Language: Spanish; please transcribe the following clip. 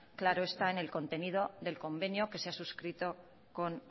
claro está en el contenido del convenio que se ha suscrito con